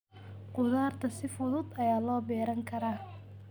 Khudaarta si fudud ayaa loo beeran karaa.